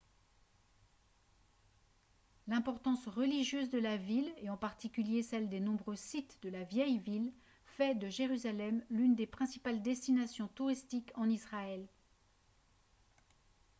l'importance religieuse de la ville et en particulier celle des nombreux sites de la vieille ville fait de jérusalem l'une des principales destinations touristiques en israël